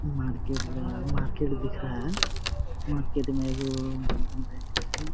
Market गया है market दिख रहा है मार्केट में एगो बंधन बैंक है।